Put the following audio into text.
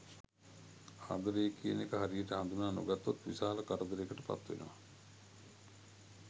ආදරය කියන එක හරියට හඳුනා නොගත්තොත් විශාල කරදරයකට පත්වෙනවා.